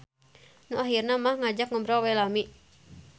Nu ahirna mah ngajak ngobrol we lami.